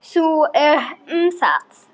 Þú um það.